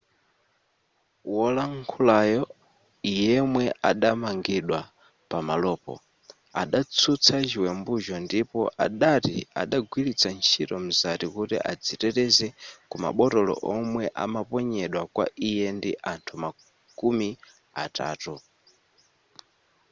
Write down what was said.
wolankhulayo yemwe adamangidwa pamalopo adatsutsa chiwembucho ndipo adati adagwiritsa ntchito mzati kuti adziteteze ku mabotolo omwe amaponyedwa kwa iye ndi anthu makumi atatu